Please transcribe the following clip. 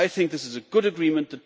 I think this is a good agreement.